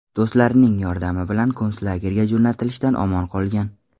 Do‘stlarining yordami bilan konslagerga jo‘natilishdan omon qolgan.